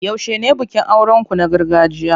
Yaushe ne bikin auren ku na gargajiya?